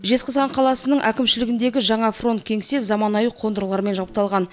жезқазған қаласының әкімшілігіндегі жаңа фронт кеңсе заманауи қондырғылармен жабдықталған